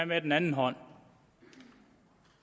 med den anden hånd